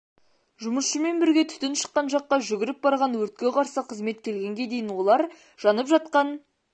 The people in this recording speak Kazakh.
жұмысшымен бірге түтін шыққан жаққа жүгіріп барған өртке қарсы қызмет келгенге дейін олар жанып жатқан